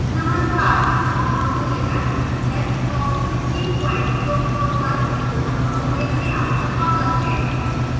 नमस्कार ubuntu linux desktop 1604 पर spoken tutorial में आपका स्वागत है